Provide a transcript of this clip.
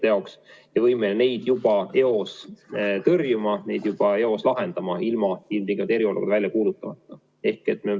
Me peame olema võimelised neid juba eos tõrjuma, neid juba eos lahendama, ilma ilmtingimata eriolukorda välja kuulutamata.